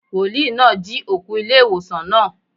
Wòlíì náà jí òkú ilé ìwòsàn náà.